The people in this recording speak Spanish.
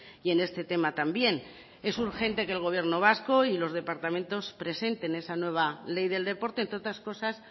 y en este tema también es urgente que el gobierno vasco y lo departamentos presente esa nueva ley del deporte entre otras cosas